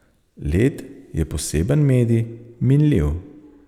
Led je poseben medij, minljiv.